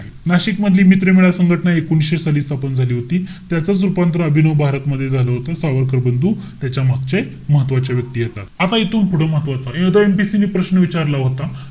आहे. नाशिक मधली मित्रमेळा संघटना एकोणीशे साली स्थापन झाली होती. त्याचच रूपांतर अभिनव भारत मध्ये झालं होतं. सावरकर बंधू, त्याच्यामागचे महत्वाचे व्यक्ती येतात. आता इथून पुढ महत्वाचं. आता MPSC ने प्रश्न विचारला होता.